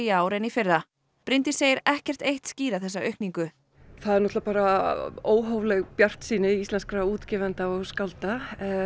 ár en í fyrra Bryndís segir ekkert eitt skýra þessa aukningu það er náttúrulega bara óhófleg bjartsýni íslenskra útgefa og skálda